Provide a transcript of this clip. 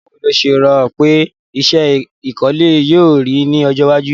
Báwo lo se rò pe isẹ́ ìkọ́lé yio rí ni ojó iwájú